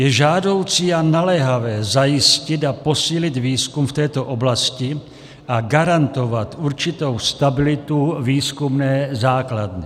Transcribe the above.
Je žádoucí a naléhavé zajistit a posílit výzkum v této oblasti a garantovat určitou stabilitu výzkumné základny.